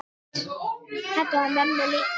Þetta var mömmu líkt.